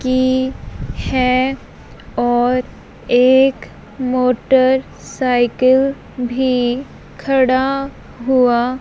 की हैं और एक मोटरसाइकिल भीं खड़ा हुवा--